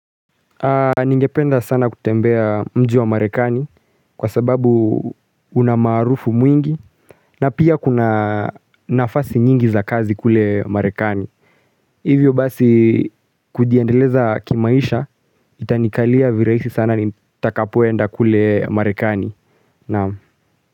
Ningependa sana kutembea mji wa marekani kwa sababu una maarufu mwingi na pia kuna nafasi nyingi za kazi kule marekani. Hivyo basi kujiendeleza kimaisha itanikalia viraisi sana nitakapoenda kule marekani.